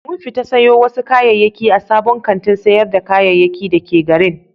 Mun fita sayo wasu kayayyaki a sabon kantin sayar da kayayyaki da ke garin.